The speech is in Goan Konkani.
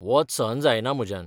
वोत सहन जायना म्हज्यान.